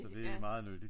Så det er meget nyttigt ja